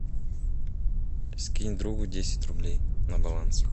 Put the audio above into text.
скинь другу десять рублей на баланс